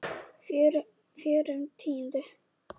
Fjórum tíundu?